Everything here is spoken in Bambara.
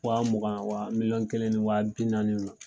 Wa mugan wa miliyɔn kelen ni wa bi naani ma.